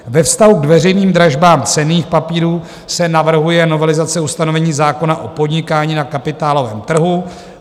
Ve vztahu k veřejným dražbám cenných papírů se navrhuje novelizace ustanovení zákona o podnikání na kapitálovém trhu.